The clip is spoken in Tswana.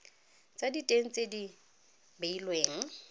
tsa diteng tse di beilweng